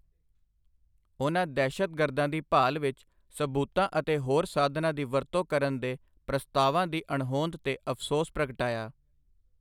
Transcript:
ਉਨ੍ਹਾਂ ਦਹਿਸ਼ਤਗਰਦਾਂ ਦੀ ਭਾਲ ਵਿੱਚ ਸਬੂਤਾਂ ਅਤੇ ਹੋਰ ਸਾਧਨਾਂ ਦੀ ਵਰਤੋਂ ਕਰਨ ਦੇ ਪ੍ਰਸਤਾਵਾਂ ਦੀ ਅਣਹੋਂਦ 'ਤੇ ਅਫਸੋਸ ਪ੍ਰਗਟਾਇਆ।